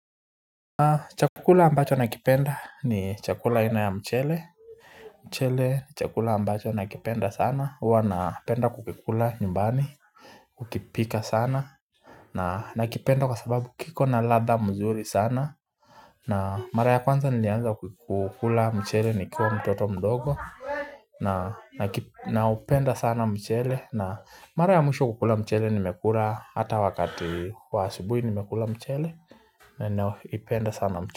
Chakula ambacho nakipenda ni chakula aina ya mchele mchele chakula ambacho nakipenda sana huwa napenda kukikula nyumbani kukipika sana na nakipenda kwa sababu kiko na ladha mzuri sana na mara ya kwanza nilianza kukula mchele nikiwa mtoto mdogo Naupenda sana mchele na mara ya mwisho kukula mchele nimekula hata wakati wa asubuhi nimekula mchele na naipenda sana mchele.